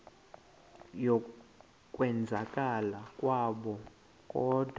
yokwenzakala kwabo kodwa